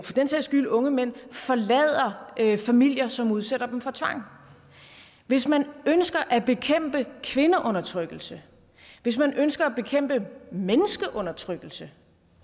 for den sags skyld unge mænd forlader familier som udsætter dem for tvang hvis man ønsker at bekæmpe kvindeundertrykkelse hvis man ønsker at bekæmpe menneskeundertrykkelse